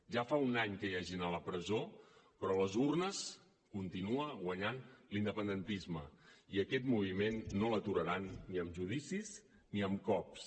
ja fa un any que hi ha gent a la presó però a les urnes continua guanyant l’independentisme i aquest moviment no l’aturaran ni amb judicis ni amb cops